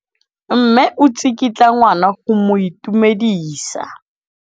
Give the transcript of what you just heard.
Mme o tsikitla ngwana go mo itumedisa.